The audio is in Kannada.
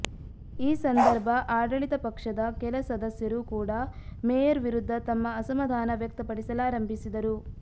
ಈ ಸಂದರ್ಭ ಆಡಳಿತ ಪಕ್ಷದ ಕೆಲ ಸದಸ್ಯರು ಕೂಡಾ ಮೇಯರ್ ವಿರುದ್ಧ ತಮ್ಮ ಅಸಮಾಧಾನ ವ್ಯಕ್ತಪಡಿಸಲಾರಂಭಿಸಿದರು